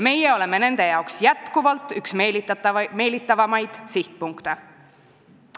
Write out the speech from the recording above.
Meie oleme aga endiselt nende jaoks üks meelitavamaid sihtpunkte.